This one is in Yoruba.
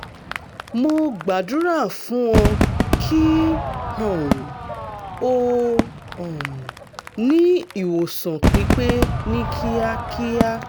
mo gbàdúrà fún ọ kí um o um ní ìwòsàn pípé ní kíákíá